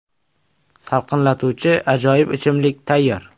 Salqinlatuvchi ajoyib ichimlik tayyor!